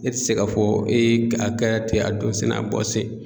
Ne tɛ se k'a fɔ a kɛ ten a donsen n'a bɔ sen.